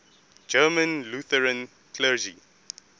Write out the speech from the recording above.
german lutheran clergy